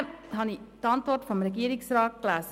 Danach habe ich die Antwort des Regierungsrats gelesen: